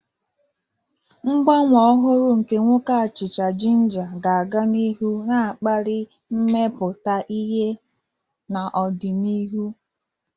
Ngbanwe ọhụrụ nke nwoke achicha jinja ga-aga n'ihu na-akpali mmepụta ihe n'ọdịnihu.